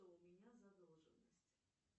у меня задолженность